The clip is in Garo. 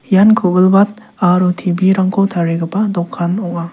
ian ku·bilbat aro T_B rangko tarigipa dokan ong·a.